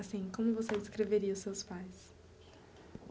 Assim, como você descreveria os seus pais?